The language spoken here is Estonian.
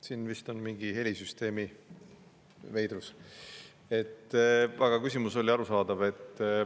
Siin vist oli mingi helisüsteemi veidrus, aga küsimus oli arusaadav.